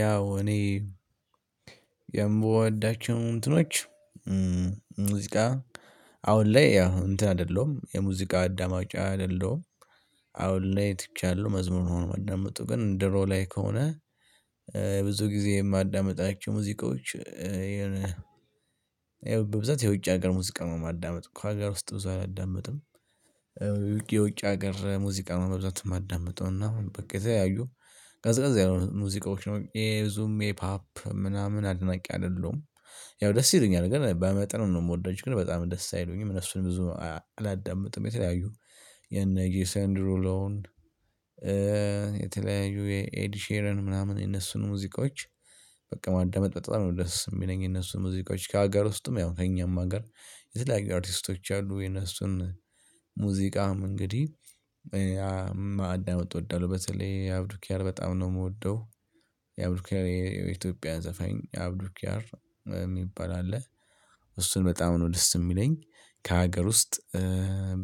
ያው እኔ የምወዳቸው እንትኖች ሙዚቃ አሁን ላይ ያው እንትን አይደለሁም የሙዚቃ አዳማጭ አይደለሁም አሁን ላይ ትቻለሁ መዝሙር ነው ማዳምጠው ግን ድሮ ላይ ከሆነ ብዙ ጊዜ የማዳምጣቸው ሙዚቃዎች ይሄን በብዛት የውጭ ሀገር ሙዚቃ ነው የማዳምጥ ከሀገር ውስጥ ብዙ አላዳመጥም። የውጭ ሀገር ሙዚቃ በብዛት ማዳምጠውም እና ከተለያዩ ቀዝቃዛ የሆኑ ሙዚቃዎች ነው የዙሜ ፓፕ ምናምን አድናቂ አይደለሁም። ያው ደስ ይለኛል ግን በመጠኑ ነው የምወዳቸው ግን በጣም ደስ አይሉኝም እነሱን ብዙ አላዳምጥም። የተለያዩ የነ ጄሰን ሩሎን። የተለያዩ የኤድ ሼረን ምናምን የነሱን ሙዚቃዎች በቃ ማዳመጥ በጣም ነው ደስ የሚለኝ የነሱ ሙዚቃዎች ከሀገር ውስጥም ያው ከእኛም ሀገር። የተለያዩ አርቲስቶች አሉ የነሱን ሙዚቃም እንግዲህ ማዳመጥ ወደለው በተለይ አብዱኪያር በጣም ነው የምወደው። የአብዱኪያር የኢትዮጵያ ዘፈኝ አብዱኪያር የሚባል አለ እሱን በጣም ነው ደስ የሚለኝ። ከሀገር ውስጥ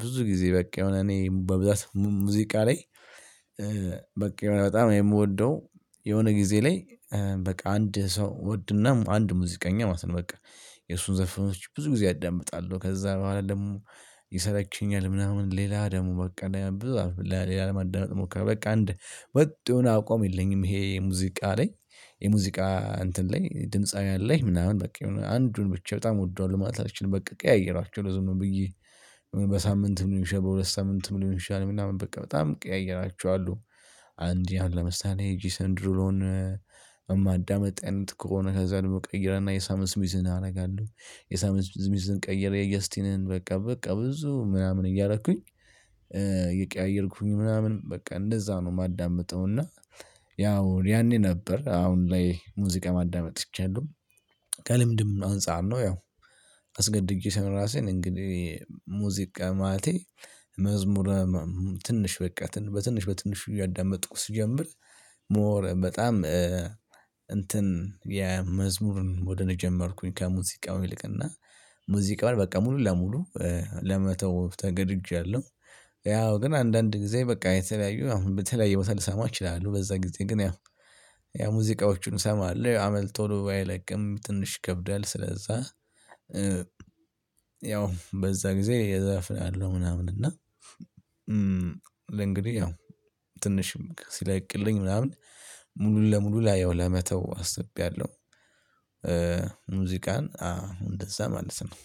ብዙ ጊዜ በቃ የሆነ እኔ በብዛት ሙዚቃ ላይ። በቃ በጣም የምወደው የሆነ ጊዜ ላይ በቃ አንድ ሰው ወድና አንድ ሙዚቀኛ ማለት ነው በቃ የእሱን ዘርፎች ብዙ ጊዜ አዳምጣለሁ። ከዛ በኋላ ደግሞ ይሰለችኛል ምናምን ሌላ ደግሞ በቃ ሌላ ለማዳመጥሞ በቃ እንደ ወጥ የሆነ አቋም የለኝም። ይሄ ሙዚቃ ላይ የሙዚቃ እንትን ላይ ድምፃዊያን ላይ ምናምን በቃ አንዱን ብቻ በጣም ወዷለው ማለት አልችልም። በቃ ቀያይራቸዋለው ዝም ብዬ በሳምንት ሊሆን ይችላል በሁለት ሳምንት ሊሆን ይችላል እና በቃ በጣም ቀያይራቸዋለው። አንድ ያን ለምሳሌ ጂሰንድሮን እማዳምጥ አይነት ከሆነ ከዛ ደግሞ ቀይር እና የሳም እስሚዝን አደርጋለሁ የሳም እስሚዝን ቀይሬ የጀስቲንን በቃ በቃ ብዙ ምናምን እያደረኩኝ እየቀያየርኩኝ ምናምን በቃ እንደዛ ነው የማዳምጠው። እና ያው ያኔ ነበር አሁን ላይ ሙዚቃ ማዳመጥ ትቻለሁ። ከልምድም አንፃር ነው ያው አስገድጄ ሳይሆን ራሴን እንግዲህ ሙዚቃ ማለቴ። መዝሙር ትንሽ በቃ በትንሽ በትንሽ እያዳመጥኩ ስጀምር ሞር በጣም እንትን የመዝሙርን ወደ እኔ ጀመርኩኝ ከሙዚቃው ይልቅና ሙዚቃን በቃ ሙሉ ለሙሉ ለመተው ተገድጃለሁ። ያው ግን አንዳንድ ጊዜ በቃ የተለያዩ አሁን በተለያዩ ቦታ ልሰማ እችላለሁ በዛ ጊዜ ግን ያ ያ ሙዚቃዎችን እሰማለሁ አመል ቶሎ ባይለቅም ትንሽ ይከብዳል ስለዛ። ያው በዛ ጊዜ እዘፍናለው ምናምን እና ለእንግዲህ ያው ትንሽም ሲለቅልኝ ምናምን ሙሉ ለሙሉ ላየው ለመተው ለመተው አስቤያለሁ። ሙዚቃን አሁን እንደዛ ማለት ነው።